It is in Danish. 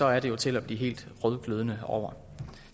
er det jo til at blive helt rødglødende over